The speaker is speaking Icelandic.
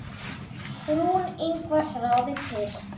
Rún Ingvars ráðin til.